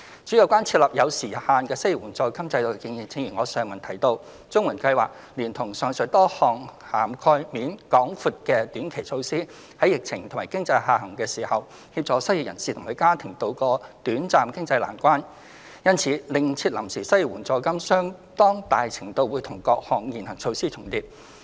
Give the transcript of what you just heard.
至於有關設立有時限性的失業援助金制度的建議，正如我在上文提到，綜援計劃連同上述多項涵蓋面廣闊的短期措施，在疫情和經濟下行時，協助失業人士及其家庭渡過短暫經濟難關，因此另設臨時失業援助金相當大程度會與各項現行措施重疊。